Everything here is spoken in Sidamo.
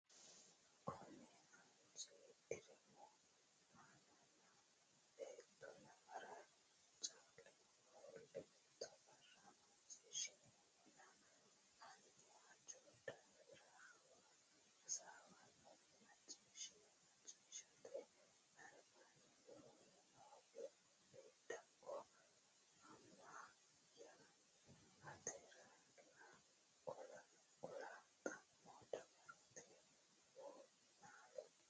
konninni aanchine diraamu Amanna beetto nafara caaleho ofolte mitte borro macciishshineemmona hanni hajo daafira hasaawannore macciishshino macciishshate albaanni woroonni noo Beeddakko Ama ya ateralla kula xa mo dawarate wo naallo.